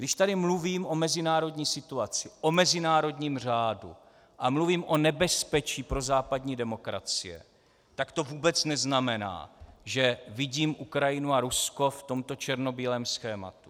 Když tady mluvím o mezinárodní situaci, o mezinárodním řádu a mluvím o nebezpečí pro západní demokracie, tak to vůbec neznamená, že vidím Ukrajinu a Rusko v tomto černobílém schématu.